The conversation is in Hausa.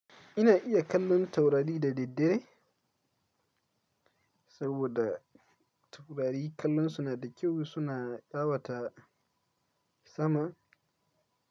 Ina iya kallon taurari da daddare saboda taurari kallonsu na da kyau suna ƙawata sama.